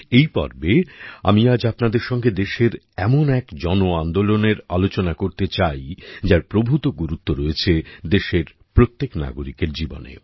এই পর্বে আমি আজ আপনাদের সঙ্গে দেশের এমন এক জনআন্দোলনের আলোচনা করতে চাই যার প্রভূত গুরুত্ব রয়েছে দেশের প্রত্যেকটা নাগরিকের জীবনে